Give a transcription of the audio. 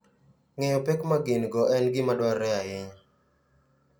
Ng'eyo pek ma gin - go en gima dwarore ahinya.